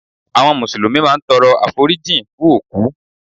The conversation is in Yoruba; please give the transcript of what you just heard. Àwọn Mùsùlùmí máa ń tọrọ àforíjìn fún òkú